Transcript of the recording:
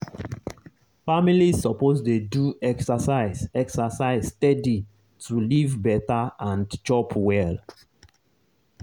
families suppose dey do exercise exercise steady to live better and chop well.